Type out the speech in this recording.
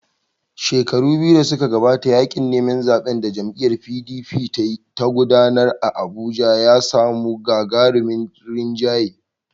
Shekaru biyu da suka gabata, yaƙin neman zaɓen da jam'iyyar PDP ta gudanar a Abuja ya samu gagarumin rinjaye.